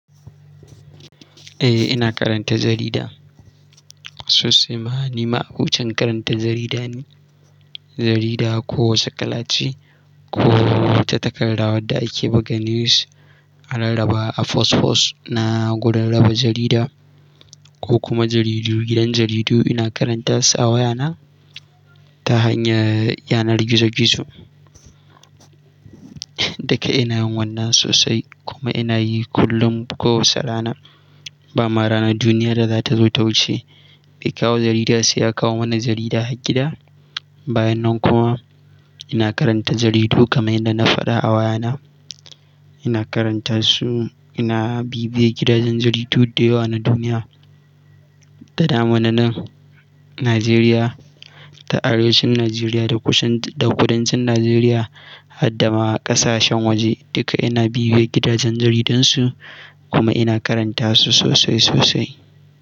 Eh, ina karanta jarida. Sosai ma ni ma'abocin karanta jarida ne jarida kowace kalace ko wata takarda wadda ake buga news a rarrraba a post post na gurin raba jarida ko kuma jaridu, gidan jaridu ina karanta su a wayana ta hanyar yanar gizo-gizo. Duka ina yin wannan sosai kuma ina yi kullum ko wace rana. Ba ma ranar duniya da za ta zo ta wuce bai kawo jarida sai ya kawo mana jarida har gida. Bayan nan kuma ina karanta jaridu kamar yadda na faɗa a wayana. Ina karanta su, ina bibiye gidajen jaridu da yawa na duniya, da daman nan Najeriya, ta arewacin Najeriya da kusan da kudancin Najeriya, har dama ƙasashen waje duka ina bibiye gidajen jaridun su kuma ina karanta su sosai sosai.